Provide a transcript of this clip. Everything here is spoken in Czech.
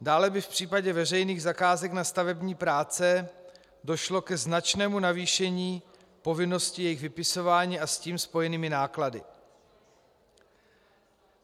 Dále by v případě veřejných zakázek na stavební práce došlo ke značnému navýšení povinnosti jejich vypisování a s tím spojených nákladů.